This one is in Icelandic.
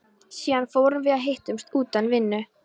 Síðar fórum við að hittast utan vinnu.